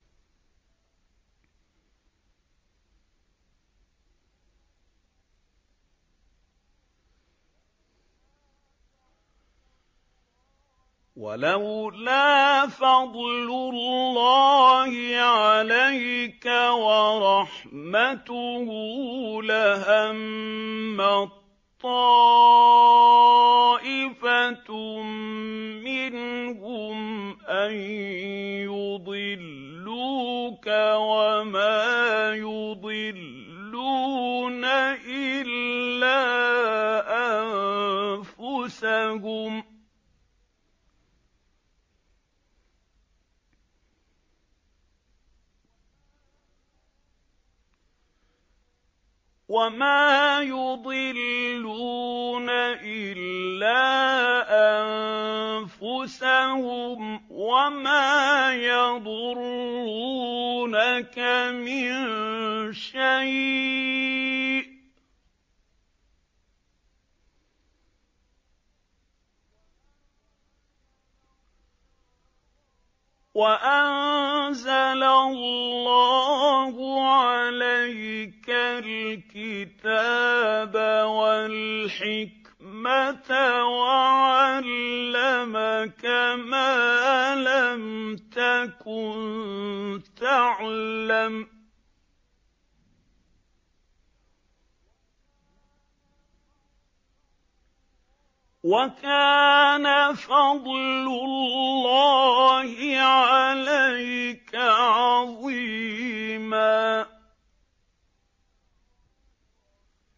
وَلَوْلَا فَضْلُ اللَّهِ عَلَيْكَ وَرَحْمَتُهُ لَهَمَّت طَّائِفَةٌ مِّنْهُمْ أَن يُضِلُّوكَ وَمَا يُضِلُّونَ إِلَّا أَنفُسَهُمْ ۖ وَمَا يَضُرُّونَكَ مِن شَيْءٍ ۚ وَأَنزَلَ اللَّهُ عَلَيْكَ الْكِتَابَ وَالْحِكْمَةَ وَعَلَّمَكَ مَا لَمْ تَكُن تَعْلَمُ ۚ وَكَانَ فَضْلُ اللَّهِ عَلَيْكَ عَظِيمًا